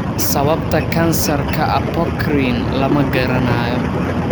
Sababta kansarka apocrine lama garanayo.